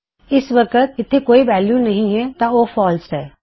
ਇਸ ਵਕਤ ਉੱਥੇ ਕੋਈ ਵੈਲਯੂ ਨਹੀ ਹੈ ਤਾਂ ਉਹ ਫਾਲਸ ਹੈ